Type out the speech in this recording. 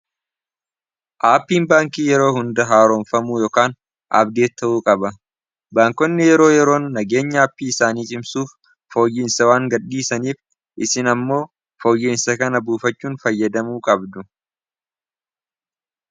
aapiin baankii yeroo hundaa haaroonfamuu yokan abdee ta'uu qaba baankonni yeroo yeroon nageenya aapii isaanii cimsuuf fooyyiinsa waan gad dhiisaniif isin ammoo fooyyiinsa kana buufachuun fayyadamuu qabdu